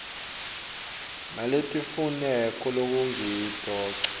naletimfuneko lekungito ngco